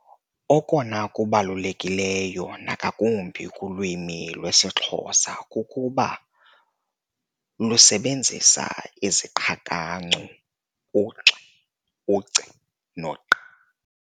Okona kubalulekileyo nangakumbi kulwimi lwesiXhosa kukuba lusebenzisa iziqhakancu, u-x, u-c, no-q.